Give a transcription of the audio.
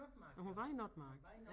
Nåh hun var i Notmark